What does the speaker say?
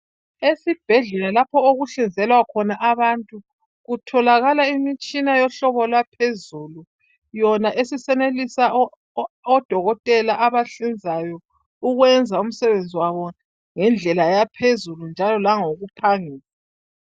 Esibhedlela lapho okuhlinzelwa khona abantu kutholakala imitshina yohlobo lwaphezulu yona esisenelisa odokotela abahlinzayo ukwenza umsebenzi wabo ngendlela yaphezulu njalo langokuphangisa.